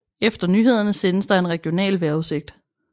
Efter nyhederne sendes der en regional vejrudsigt